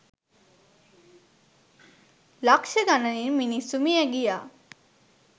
ලක්ෂ ගණනින් මිනිස්සු මිය ගියා.